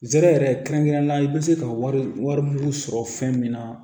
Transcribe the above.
Zɛrɛ yɛrɛ kɛrɛnkɛrɛnnenya la i bɛ se ka wari wari mugu sɔrɔ fɛn min na